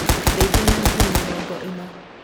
Ndeithia na ngiri mĩrongo ĩna.